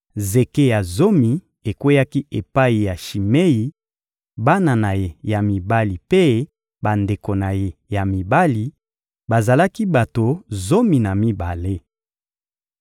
Zeke ya zomi ekweyaki epai ya Shimei, bana na ye ya mibali mpe bandeko na ye ya mibali: bazalaki bato zomi na mibale.